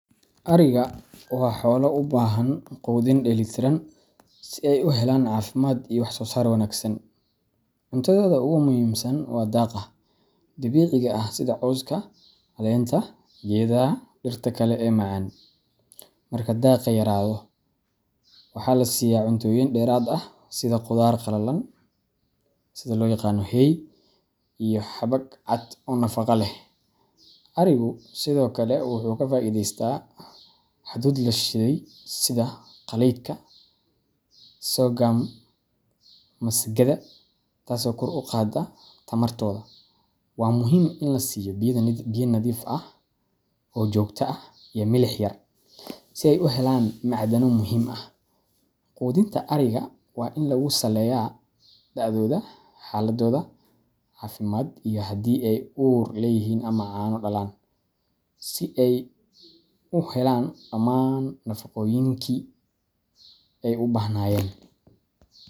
Ariga waa xoolo u baahan quudin dheellitiran si ay u helaan caafimaad iyo wax soosaar wanaagsan. Cuntadooda ugu muhiimsan waa daaqa dabiiciga ah sida cawska, caleenta geedaha, iyo dhirta kale ee macaan. Marka daaqa yaraado, waxaa la siiyaa cuntooyin dheeraad ah sida qudaar qalalan hay iyo xabag cad oo nafaqo leh. Arigu sidoo kale wuu ka faa’iidaystaa hadhuudh la shiiday sida galleyda, sorghum, ama masagada, taasoo kor u qaadda tamartooda. Waa muhiim in la siiyo biyo nadiif ah oo joogto ah iyo milix yar si ay u helaan macdano muhiim ah. Quudinta ariga waa in lagu saleeyaa da’dooda, xaaladooda caafimaad, iyo haddii ay uur leeyihiin ama caano dhalaan si ay u helaan dhammaan nafaqooyinkii ay u baahnaayeen.